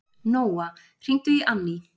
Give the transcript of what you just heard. Nóa, hringdu í Anní.